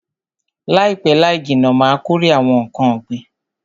Laipe laijinna Ma kórè awon nkan ogbin